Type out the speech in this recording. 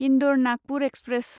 Indore Nagpur express